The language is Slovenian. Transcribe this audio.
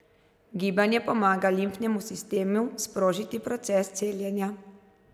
Gibanje pomaga limfnemu sistemu sprožiti proces celjenja.